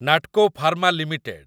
Natco pharma limited